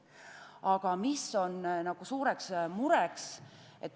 Aga mis on suureks mureks?